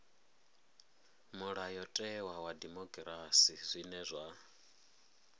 mulayotewa wa dimokirasi zwine zwa